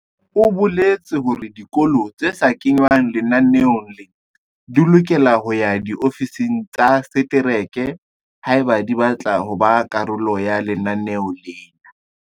O boletse hore dikolo tse sa kengwang lenaneong lena di lokela ho ya diofising tsa setereke haeba di batla ho ba karolo ya lenaneo lena.